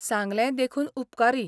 सांगलें देखून उपकारी.